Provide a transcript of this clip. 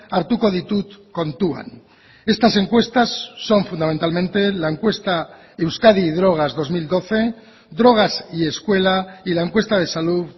hartuko ditut kontuan estas encuestas son fundamentalmente la encuesta euskadi drogas dos mil doce drogas y escuela y la encuesta de salud